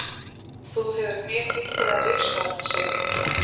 Þú hefur mjög heilbrigðar lífsskoðanir, segir hún.